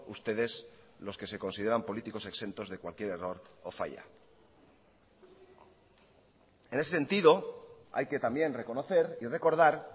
ustedes los que se consideran políticos exentos de cualquier error o falla en ese sentido hay que también reconocer y recordar